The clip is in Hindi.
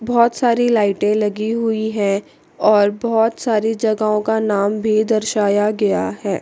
बहुत सारी लाइटें लगी हुई है और बहुत सारी जगहों का नाम भी दर्शाया गया है।